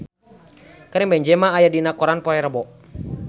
Karim Benzema aya dina koran poe Rebo